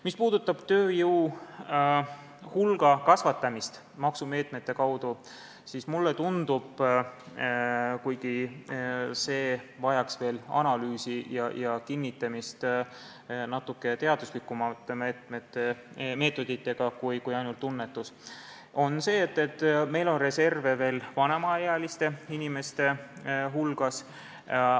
Mis puudutab tööjõu hulga kasvatamist maksumeetmete kaudu, siis mulle tundub – kuigi see vajaks veel analüüsi ja kinnitamist natuke teaduslikumate meetoditega kui ainult tunnetus –, et meil on reserve vanemaealiste inimeste hulgas.